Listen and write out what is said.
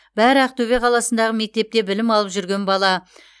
бәрі ақтөбе қаласындағы мектепте білім алып жүрген бала